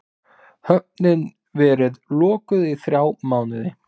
Höfnin verið lokuð í þrjá mánuði